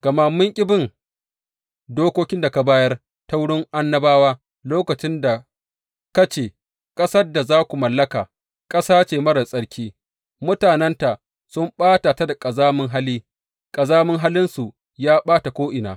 Gama mun ƙi bin dokokin da ka bayar ta wurin annabawa lokacin da ka ce, Ƙasar da za ku mallaka, ƙasa ce marar tsarki, mutanenta sun ɓata ta da ƙazamin hali, ƙazamin halinsu ya ɓata ko’ina.